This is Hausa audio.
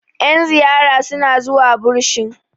yan ziyara suna zuwa bursin